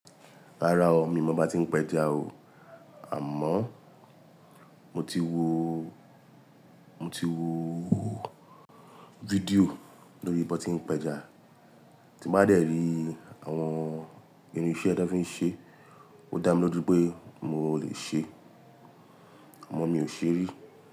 Rárá o, mi ò mọ bí a ti ń pẹja o, àmọ́ mo ti wo, mo ti wo fídíò lórí bí wọ́n ti ń pẹja, tí mo bá dẹ̀rí àwọn irin iṣẹ́ tí wọ́n fi ń ṣe, ó dá mi lójú pé mo lè ṣe, àmọ́ mi ò ṣe rí.